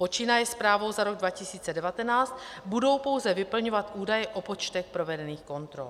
Počínaje zprávou za rok 2019 budou pouze vyplňovat údaje o počtech provedených kontrol.